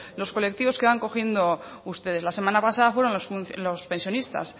los colectivos que van cogiendo ustedes la semana pasada fueron los pensionistas